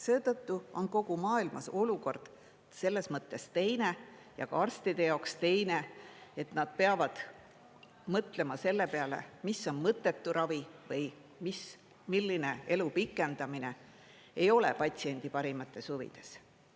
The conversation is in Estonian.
Seetõttu on kogu maailmas olukord selles mõttes teine ja ka arstide jaoks teine, et nad peavad mõtlema selle peale, mis on mõttetu ravi või milline elu pikendamine ei ole patsiendi parimates huvides,